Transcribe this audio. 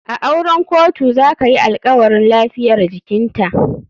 A auren kotu zakayi alkawarin lafiyar jikinta.